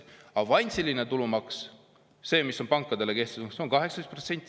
Avansiline tulumaks, see, mis on pankadele kehtestatud, on 18%.